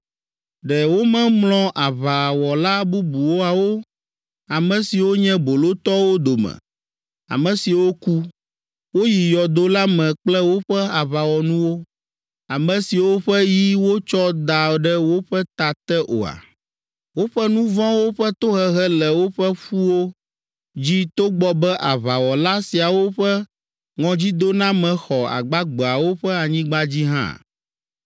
Ɖe womemlɔ aʋawɔla bubuawo, ame siwo nye bolotɔwo dome, ame siwo ku, woyi yɔdo la me kple woƒe aʋawɔnuwo, ame siwo ƒe yi wotsɔ da ɖe woƒe ta te oa? Woƒe nu vɔ̃wo ƒe tohehe le woƒe ƒuwo dzi togbɔ be aʋawɔla siawo ƒe ŋɔdzidoname xɔ agbagbeawo ƒe anyigba dzi hã.